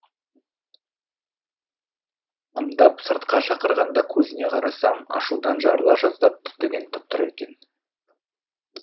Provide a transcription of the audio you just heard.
ымдап сыртқа шақырғанда көзіне қарасам ашудан жарыла жаздап түтігіп тұр екен